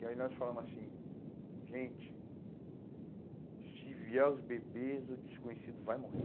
E aí nós falamos assim, gente, se vier os bebês, o desconhecido vai morrer.